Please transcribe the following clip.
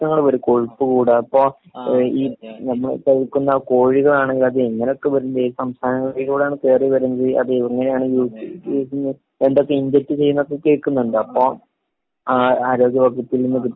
പ്രശ്നങ്ങള് കൂടും. ചൂട് ഇപ്പൊ ആഹ് ഈ നമ്മള് കഴിക്കുന്ന കോഴികളാണ് അത് എങ്ങനൊക്കെ വരും ഏത് സംസ്ഥാനങ്ങളിലൂടെയാണ് കേറി വരുന്നത് അത് എങ്ങനെയാണു ഈ ഈ അതെ എന്തൊക്കേ ഇൻജെക്ട് ചെയ്യുന്നൊക്കെ കേൾക്കുന്നുണ്ട്. അപ്പൊ ആ ആരോഗ്യ വകുപ്പിൽ നിന്ന് .